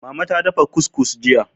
Mama ta dafa cuscus jiya.